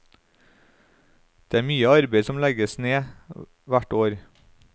Det er mye arbeid som legges ned hvert år.